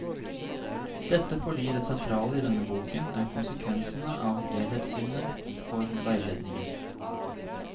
Dette fordi det sentrale i denne boken er konsekvensene av helhetssynet for veiledning.